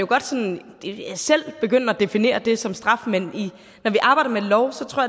godt sådan selv begynde at definere det som straf men når vi arbejder med love tror